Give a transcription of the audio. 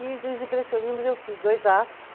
E dos impressionismos eu fiz dois atos.